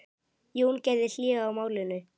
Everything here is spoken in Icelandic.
Jón gerði hlé á málinu.